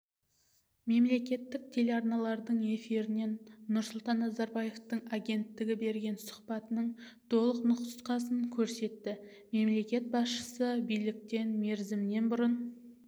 мемлекеттік телеарналардың эфирінен нұрсұлтан назарбаевтың агенттігіне берген сұхбатының толық нұсқасын көрсетті мемлекет басшысы биліктен мерзімінен бұрын